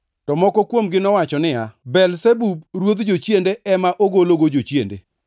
To moko kuomgi nowacho niya, “Belzebub ruodh jochiende, ema ogologo jochiende.”